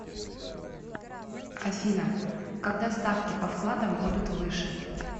афина когда ставки по вкладам будут выше